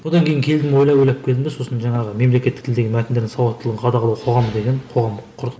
одан кейін келдім ойлап ойлап келдім де сосын жаңағы мемлекеттік тілдегі мәтіндердің сауаттылығын қадағалау қоғамы деген қоғам құрдық